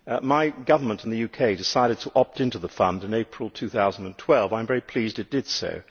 My Government in the UK decided to opt in to the fund in April2012, and I am pleased that it did so.